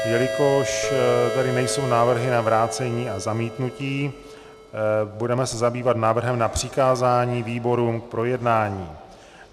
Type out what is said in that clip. Jelikož tady nejsou návrhy na vrácení a zamítnutí, budeme se zabývat návrhem na přikázání výborům k projednání.